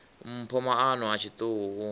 mpho maano a tshiṱuhu u